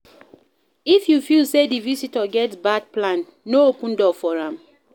If you feel sey di visitor get bad plan, no open door for am